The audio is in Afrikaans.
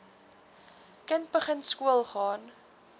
kind begin skoolgaan